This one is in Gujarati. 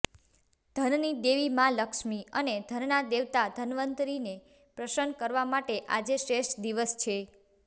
ધનની દેવી માઁ લક્ષ્મી અને ધનના દેવતા ધનવંતરિને પ્રસન્ન કરવા માટે આજે શ્રેષ્ઠ દિવસ છે